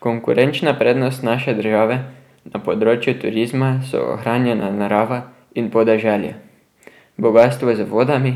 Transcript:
Konkurenčna prednost naše države na področju turizma so ohranjena narava in podeželje, bogastvo z vodami